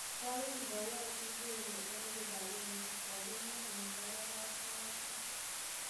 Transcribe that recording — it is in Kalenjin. " Koyan boyot Kingunge en kibagenge," kogimwa en kabaraastoutiik.